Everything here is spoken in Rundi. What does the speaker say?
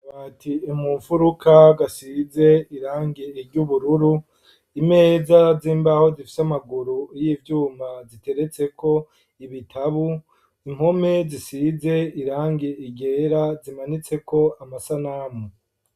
Akabati mumfuruka gasize irangi ry'ubururu imeza z'imbaho zifise amaguru y'ivyuma ziteretseko ibitabu impome zisize irangi ryera zimanitseko amasanamu.